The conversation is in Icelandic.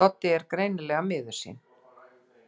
Doddi er greinilega miður sín.